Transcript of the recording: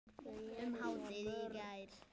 um hádegið í gær.